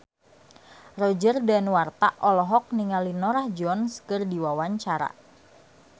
Roger Danuarta olohok ningali Norah Jones keur diwawancara